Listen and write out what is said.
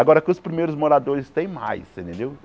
Agora que os primeiros moradores, tem mais, você entendeu?